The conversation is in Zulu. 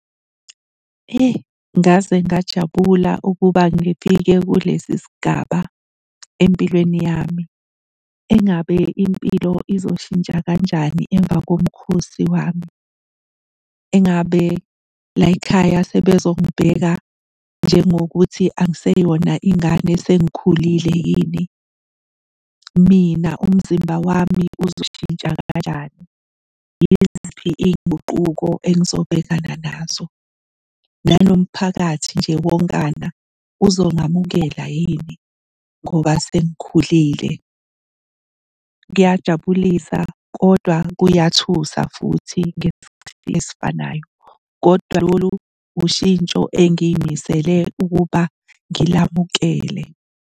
Eyi, ngaze ngajabula ukuba ngifike kulesi sigaba empilweni yami. Engabe impilo izoshintsha kanjani emva komkhosi wami? Engabe la y'khaya sebezongibheka njengokuthi angiseyona ingane sengikhulile yini? Mina umzimba wami uzoshintsha kanjani? Yiziphi iy'nguquko engizobhekana nazo? Nanomphakathi nje wonkana uzongamukela yini ngoba sengikhulile? Kuyajabulisa kodwa kuyathusa futhi ngesikhathi esifanayo, kodwa lolu ushintsho engiy'misele ukuba ngilamukele.